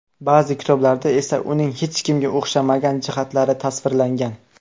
Ba’zi kitoblarda esa uning hech kimga o‘xshamagan jihatlari tasvirlangan.